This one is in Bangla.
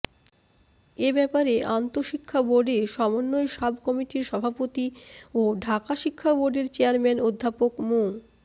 এ ব্যাপারে আন্তশিক্ষা বোর্ডে সমন্বয় সাব কমিটির সভাপতি ও ঢাকা শিক্ষা বোর্ডের চেয়ারম্যান অধ্যাপক মু